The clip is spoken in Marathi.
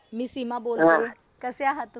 मी सीमा बोलतीये. कसे आहात तुम्ही?